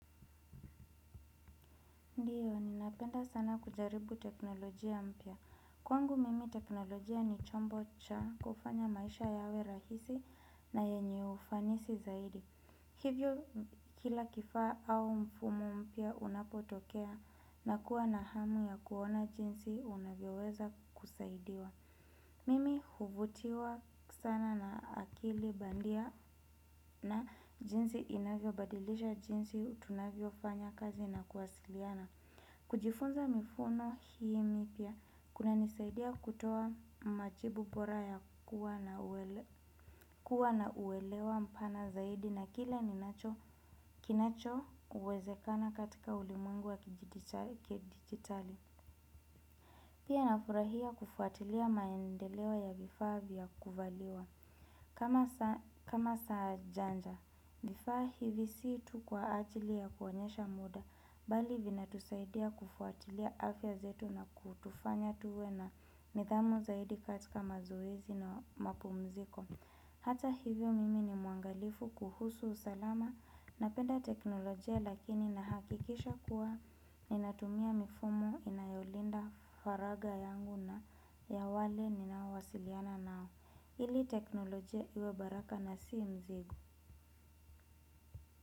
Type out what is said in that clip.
Ndiyo, ninapenda sana kujaribu teknolojia mpya. Kwangu mimi teknolojia ni chombo cha kufanya maisha yawe rahisi na yenye ufanisi zaidi. Hivyo kila kifaa au mfumu mpya unapotokea nakua na hamu ya kuona jinsi unavyoweza kusaidiwa. Mimi huvutiwa sana na akili bandia na jinsi inavyobadilisha jinsi tunavyofanya kazi na kuwasiliana. Kujifunza mifuno hii mipya, kunanisaidia kutoa majibu bora ya kuwa na uelewa mpana zaidi na kile ninacho kinacho uwezekana katika ulimwengu wa kidijitali. Pia nafurahia kufuatilia maendeleo ya vifaa vya kuvaliwa. Kama saa janja, vifaa hivi si tu kwa ajili ya kuonyesha muda, bali vinatusaidia kufuatilia afya zetu na kutufanya tuwe na nidhamu zaidi katika mazoezi na mapumziko. Hata hivyo mimi ni muangalifu kuhusu usalama napenda teknolojia lakini nahakikisha kuwa ninatumia mifumu inayolinda faraga yangu na ya wale ninaowasiliana nao. Ili teknolojia iwe baraka na si mzigo.